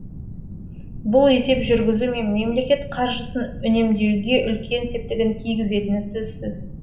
бұл есеп жүргізу мен мемлекет қаржысын үнемдеуге үлкен септігін тигізетіні сөзсіз